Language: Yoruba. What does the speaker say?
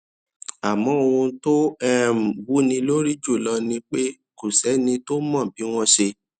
àmó ohun tó um wúni lórí jù lọ ni pé kò séni tó mọ bí wón ṣe